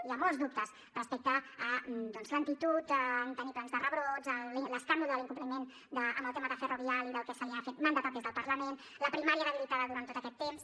hi ha molts dubtes respecte a doncs lentitud en tenir plans de rebrots l’escàndol de l’incompliment amb el tema de ferrovial i del que se li ha mandatat des del parlament la primària debilitada durant tot aquest temps